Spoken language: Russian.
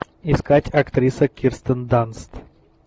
искать актриса кирстен данст